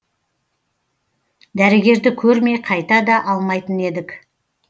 дәрігерді көрмей қайта да алмайтын едік